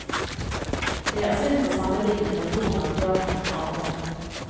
Det er sunt å sammenlikne med hvordan teatrene arbeider.